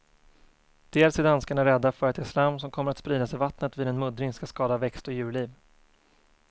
Dels är danskarna rädda för att det slam som kommer att spridas i vattnet vid en muddring ska skada växt och djurliv.